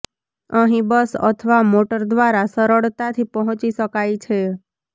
અહીં બસ અથવા મોટર દ્વારા સરળતાથી પહોંચી શકાય છે